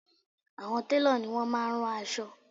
Àwọn télọ̀ ni wọ́n máá ń rán aṣọ